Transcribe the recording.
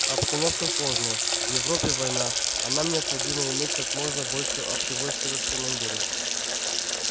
обстановка сложная в европе война а нам необходимо иметь как можно больше общевойсковых командиров